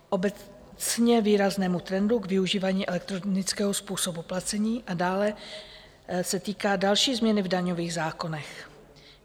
Obecně výraznému trendu k využívání elektronického způsobu placení a dále se týká další změny v daňových zákonech.